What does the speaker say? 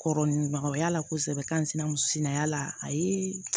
Kɔrɔ ni magaya la kosɛbɛ k'an sinsin a la a ye